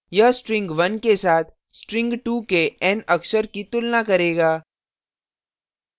यह string 1 के साथ string 2 के n अक्षर की तुलना करेगा